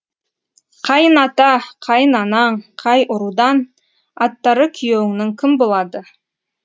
қайын ата қайын анаң қай ұрудан аттары күйеуіңнің кім болады